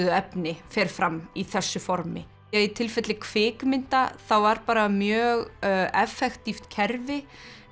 efni fer fram í þessu formi í tilfelli kvikmynda þá var bara mjög kerfi